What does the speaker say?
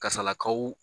Kasarakaw